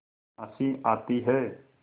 हँसी आती है